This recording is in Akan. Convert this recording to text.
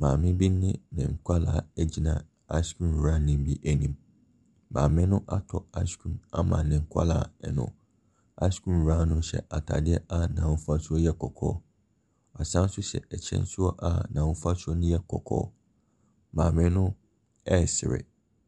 Maame bi nene nkwadaa ɛgyina '' ice cream'' wurani bi anim. Maame no atɔ ''ice cream'' ama ne nkwadaa no. ''Ice cream'' wura no hyɛ atadeɛ a ahosuo no yɛ kɔkɔɔ, ɔsaa nso hyɛ ɛkyɛ nso a ahosuo no yɛ kɔkɔɔ. Maame no ɛsere